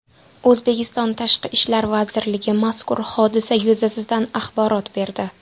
O‘zbekiston Tashqi ishlar vazirligi mazkur hodisa yuzasidan axborot berdi .